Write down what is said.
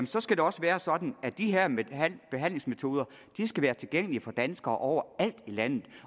så skal det også være sådan at de her behandlingsmetoder skal være tilgængelige for danskere overalt i landet